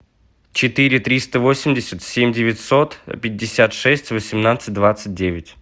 четыре триста восемьдесят семь девятьсот пятьдесят шесть восемнадцать двадцать девять